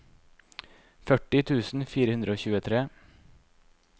førti tusen fire hundre og tjuetre